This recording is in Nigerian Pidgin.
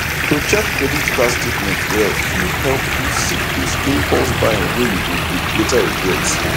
to check credit card statement well fit help you see those impulse buying wey you go later regret